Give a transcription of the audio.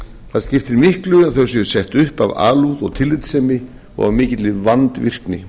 það skiptir öllu að þau séu sett upp af alúð og tillitssemi og af mikilli vandvirkni